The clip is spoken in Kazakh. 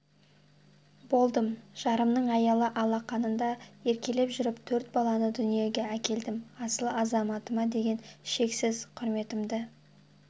болдым жарымның аялы алақанында еркелеп жүріп төрт баланы дүниеге әкелдім асыл азаматыма деген шексіз құрметімді